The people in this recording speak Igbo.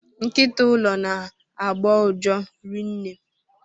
Nkịta ụlọ na agbọ uja rinne.